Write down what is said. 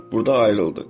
Burda ayrıldıq.